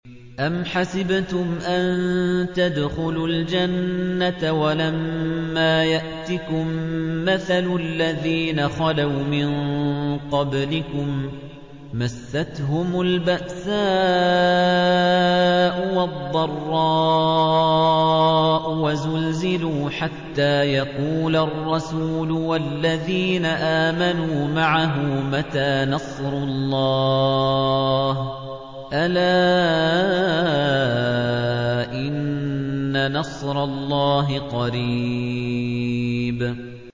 أَمْ حَسِبْتُمْ أَن تَدْخُلُوا الْجَنَّةَ وَلَمَّا يَأْتِكُم مَّثَلُ الَّذِينَ خَلَوْا مِن قَبْلِكُم ۖ مَّسَّتْهُمُ الْبَأْسَاءُ وَالضَّرَّاءُ وَزُلْزِلُوا حَتَّىٰ يَقُولَ الرَّسُولُ وَالَّذِينَ آمَنُوا مَعَهُ مَتَىٰ نَصْرُ اللَّهِ ۗ أَلَا إِنَّ نَصْرَ اللَّهِ قَرِيبٌ